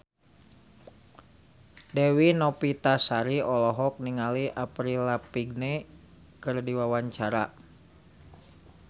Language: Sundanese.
Dewi Novitasari olohok ningali Avril Lavigne keur diwawancara